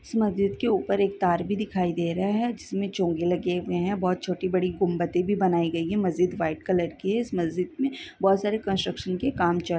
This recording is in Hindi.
इस मस्जिद के ऊपर एक तार भी दिखाई दे रहा है जिसमे चोंगे लगे हुए है बहोत छोटी बड़ी गुंबते भी बनाई गई है मस्जिद व्हाइट कलर की है इस मस्जिद मे बहोत सारे कन्स्ट्रक्शन के काम चा--